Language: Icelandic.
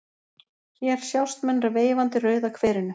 Hér sjást menn veifandi Rauða kverinu.